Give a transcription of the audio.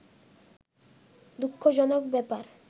দুঃখজনক ব্যাপার